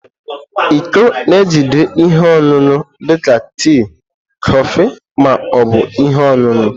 Iko na-ejide ihe ọṅụṅụ dị ka tii, kọfị, ma ọ bụ ihe ọṅụṅụ.